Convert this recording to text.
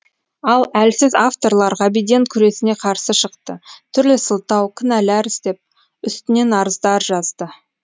ал әлсіз авторлар ғабиден күресіне қарсы шықты түрлі сылтау кінәлар іздеп үстінен арыздар жазды